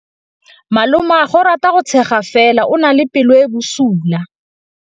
Malomagwe o rata go tshega fela o na le pelo e e bosula.